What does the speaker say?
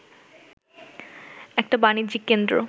একটা বাণিজ্যিক কেন্দ্র